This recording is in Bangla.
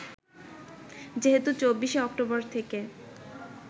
যেহেতু ২৪ শে অক্টোবর থেকে